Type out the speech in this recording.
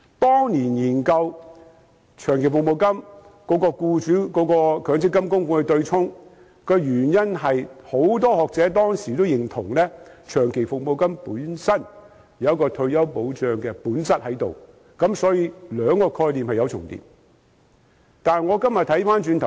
當年研究長期服務金與強積金僱主供款部分對沖的原因，是當時很多學者均認同長期服務金本身具有退休保障的本質，所以兩個概念是有重疊的。